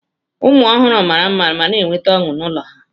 Ụmụ ọhụrụ mara mma ma na-eweta ọṅụ n'ụlọ ha.